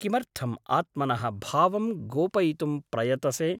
किमर्थम् आत्मनः भावं गोपयितुं प्रयतसे ?